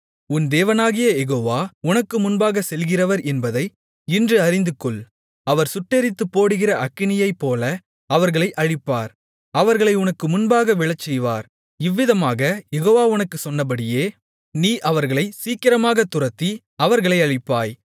உன் தேவனாகிய யெகோவா உனக்கு முன்பாகச் செல்கிறவர் என்பதை இன்று அறிந்துகொள் அவர் சுட்டெரித்துப்போடுகிற அக்கினியைப்போல அவர்களை அழிப்பார் அவர்களை உனக்கு முன்பாக விழச்செய்வார் இவ்விதமாகக் யெகோவா உனக்குச் சொன்னபடியே நீ அவர்களை சீக்கிரமாகத் துரத்தி அவர்களை அழிப்பாய்